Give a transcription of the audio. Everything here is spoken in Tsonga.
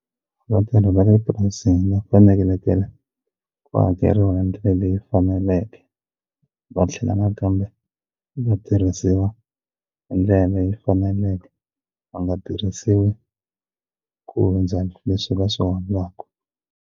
Vatirhi va le purasini va fanelekele ku hakeriwa hi ndlela leyi faneleke va tlhela nakambe va tirhisiwa hi ndlela leyi faneleke va nga tirhisiwi ku hundza leswi va swi holaku.